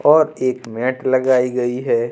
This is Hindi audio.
और एक मैट लगाई गई है।